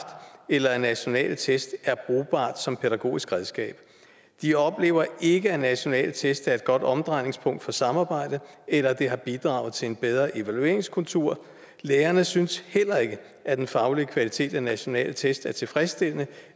eller at nationale test er brugbart som pædagogisk redskab de oplever ikke at nationale test er et godt omdrejningspunkt for samarbejde eller at det har bidraget til en bedre evalueringskultur lærerne synes heller ikke at den faglige kvalitet af nationale test er tilfredsstillende